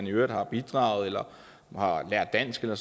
i øvrigt har bidraget eller har lært dansk eller